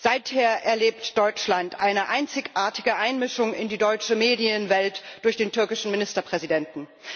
Seither erlebt Deutschland eine einzigartige Einmischung in die deutsche Medienwelt durch den türkischen Ministerpräsidenten.